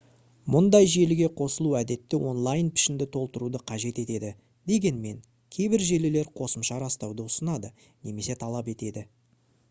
мұндай желіге қосылу әдетте онлайн пішінді толтыруды қажет етеді дегенмен кейбір желілер қосымша растауды ұсынады немесе талап етеді